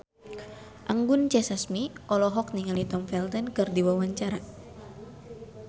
Anggun C. Sasmi olohok ningali Tom Felton keur diwawancara